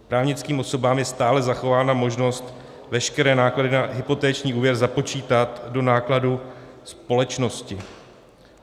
Právnickým osobám je stále zachována možnost veškeré náklady na hypoteční úvěr započítat do nákladů společnosti.